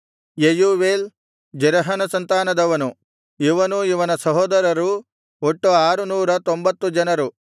Jeuel ಜೆರಹನ ಸಂತಾನದವನು ಇವನೂ ಇವನ ಸಹೋದರರೂ ಒಟ್ಟು ಆರುನೂರ ತೊಂಬತ್ತು ಜನರು